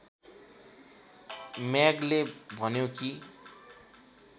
म्यागले भन्यो कि